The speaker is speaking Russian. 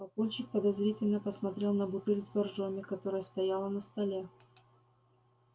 папульчик подозрительно посмотрел на бутыль с боржоми которая стояла на столе